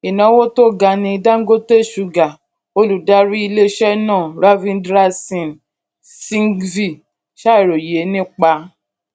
ìnáwó tó ga ní dangote sugar olùdarí iléiṣẹ náà ravindra singh singhvi ṣàròyé nípa